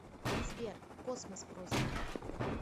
сбер космос просто